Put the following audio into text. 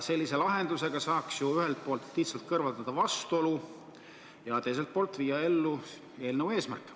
Sellise lahendusega saaks ju ühelt poolt lihtsalt kõrvaldada selle vastuolu ja teiselt poolt viia ellu eelnõu eesmärk.